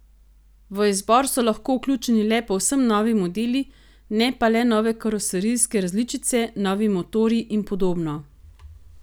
V izbor so lahko vključeni le povsem novi modeli, ne pa le nove karoserijske različice, novi motorji in podobno.